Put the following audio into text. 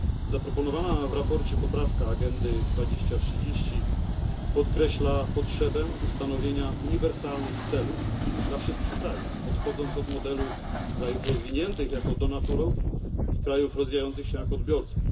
Zaproponowana w sprawozdaniu poprawka Agendy 2030 podkreśla potrzebę ustanowienia uniwersalnych celów dla wszystkich krajów, odchodząc od modelu krajów rozwiniętych jako darczyńców oraz krajów rozwijających się jako odbiorców.